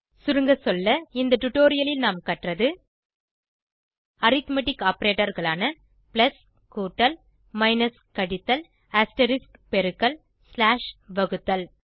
சுருங்க சொல்ல இந்த டுடோரியலில் நாம் கற்றது அரித்மெட்டிக் ஆப்பரேட்டர் களான பிளஸ் கூட்டல் மைனஸ் கழித்தல் அஸ்டெரிஸ்க் பெருக்கல் ஸ்லாஷ் வகுத்தல்